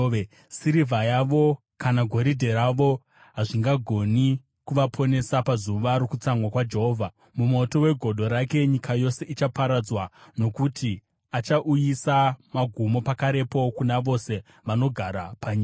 Sirivha yavo kana goridhe ravo hazvingagoni kuvaponesa, pazuva rokutsamwa kwaJehovha. Mumoto wegodo rake nyika yose ichaparadzwa, nokuti achauyisa magumo pakarepo kuna vose vanogara panyika.”